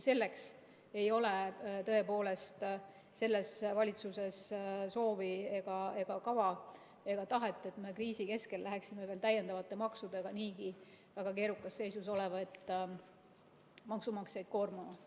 Selleks ei ole tõepoolest selles valitsuses soovi ega kava ega tahet, et me kriisi keskel läheksime täiendavate maksudega niigi väga keerukas seisus olevaid maksumaksjaid koormama.